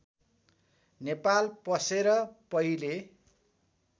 नेपाल पसेर पहिले